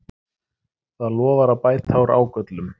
Það lofar að bæta úr ágöllum